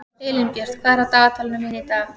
Elínbjört, hvað er á dagatalinu mínu í dag?